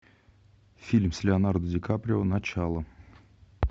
фильм с леонардо ди каприо начало